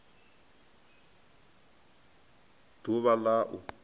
d uvha l a u